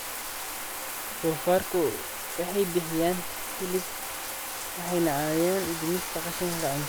Doofaarku waxay bixiyaan hilib waxayna caawiyaan dhimista qashinka cuntada.